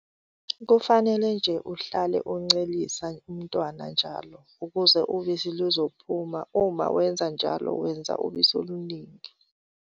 Kufanele nje uhlale uncelisa umntwana njalo ukuze ubisi luzophuma - uma wenza njalo wenza ubisi oluningi.